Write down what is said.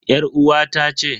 Yar uwata ce.